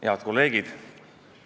Head kolleegid!